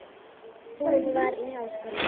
Hún var í háskóla í